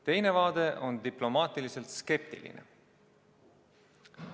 Teine vaade on diplomaatiliselt skeptiline.